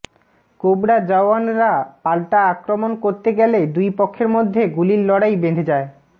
cobra জওয়ানরা পাল্টা আক্রমণ করতে গেলে দুই পক্ষের মধ্যে গুলির লড়াই বেঁধে যায়